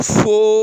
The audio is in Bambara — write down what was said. Sin